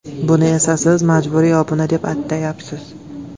Buni esa siz majburiy obuna deb atayapsiz.